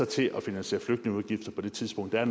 til at finansiere flygtningeudgifter på det tidspunkt det er